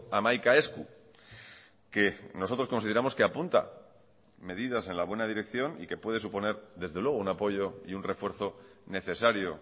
hamaika esku que nosotros consideramos que apunta medidas en la buena dirección y que puede suponer desde luego un apoyo y un refuerzo necesario